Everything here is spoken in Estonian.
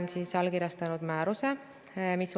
Te juhtisite tähelepanu rahvastikuprognoosidele kuni 2080. aastani.